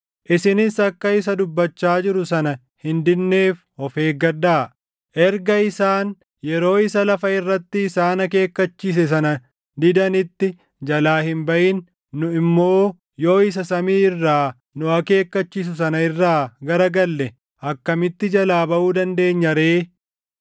Isinis akka isa dubbachaa jiru sana hin didneef of eeggadhaa. Erga isaan yeroo isa lafa irratti isaan akeekkachiise sana didanitti jalaa hin baʼin, nu immoo yoo isa samii irraa nu akeekkachiisu sana irraa gara galle akkamitti jalaa baʼuu dandeenya ree?